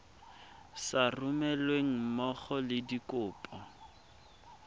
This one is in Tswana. sa romelweng mmogo le dikopo